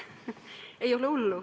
Ei ole hullu.